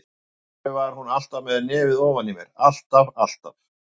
Af hverju var hún alltaf með nefið ofan í mér, alltaf, alltaf.